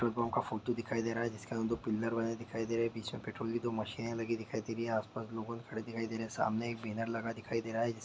petrol pump का photo दिखाई दे रहा है जिसके आगे दो पिलर बने दिखाई दे रहे है पीछे पेट्रोल की दो मशीन लगी दिखाई दे रही है आसपास लोग बहुत खड़े हुए दिखाई दे रहे हैं सामने एक बैनर लगा दिखाई दे रहा है जिसके--